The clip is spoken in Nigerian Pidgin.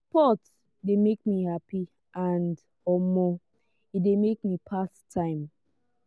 sport de make me happy and um e de make me pass time